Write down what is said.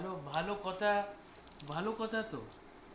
ভালো ভালো কথা ভালো কথা তো না